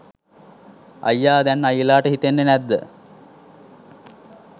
අයියා! දැන් අයියලාට හිතෙන්නේ නැද්ද